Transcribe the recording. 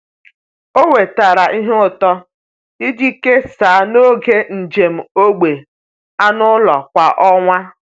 Ọ wetara ihe ụtọ iji kesaa n’oge njem ógbè anụ ụlọ kwa ọnwa.